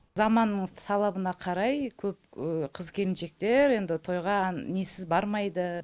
заманның талабына қарай көп қыз келіншектер енді тойға несіз бармайды